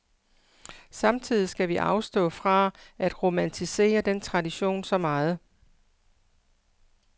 Samtidig skal vi afstå fra at romantisere den tradition så meget.